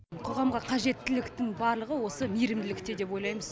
қоғамға қажеттіліктің барлығы осы мейірімділікте деп ойлаймыз